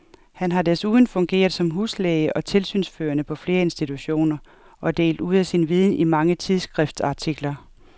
Han har desuden fungeret som huslæge og tilsynsførende på flere institutioner og delt ud af sin viden i mange tidsskriftsartikler.